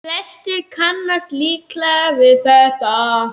Flestir kannast líklega við þetta.